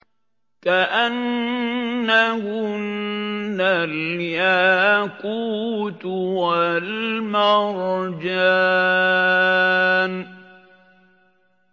كَأَنَّهُنَّ الْيَاقُوتُ وَالْمَرْجَانُ